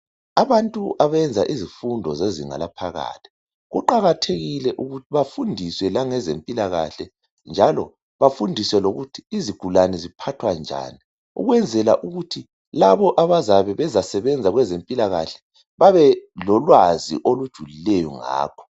Abantu abenza izifundo zezinga laphakathi kuqakathekile ukuthi bafundiswe langezempila kahle njalo bafundiswe lokuthi izigulane ziphathwa njani ukwenzela ukuthi labo abazabe bezasebenzela kwezempila kahle babe lolwazi olujulileyo ngakho